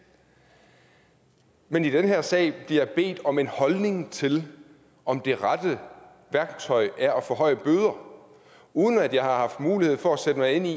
men i den her sag bliver jeg bedt om en holdning til om det rette værktøj er at forhøje bøder uden at jeg har haft mulighed for at sætte mig ind i